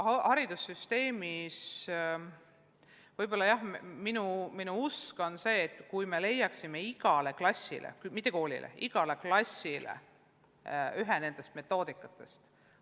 Haridussüsteemis oleks hea, kui leiaksime igale klassile – mitte igale koolile, vaid igale klassile – ühe nendest meetmetest.